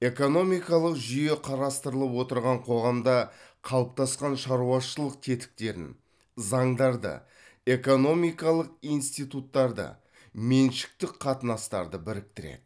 экономикалық жүйе қарастырылып отырған қоғамда қалыптасқан шаруашылық тетіктерін заңдарды экономикалық институттарды меншіктік қатынастарды біріктіреді